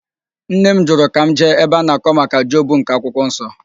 Nne m jụrụ ka m jee ebe a na-akọ maka Job nke akwụkwo nsọ.